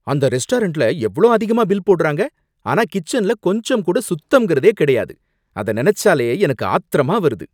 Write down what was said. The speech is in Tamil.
அந்த ரெஸ்டாரன்ட்ல எவ்ளோ அதிகமா பில் போடுறாங்க, ஆனா கிச்சன்ல கொஞ்சம் கூட சுத்தம்ங்கிறதே கிடையாது, அத நினைச்சாலே எனக்கு ஆத்திரமா வருது.